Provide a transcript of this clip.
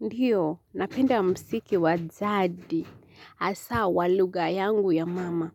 Ndiyo, napenda msiki wa jadi, hasaa wa lugha yangu ya mama.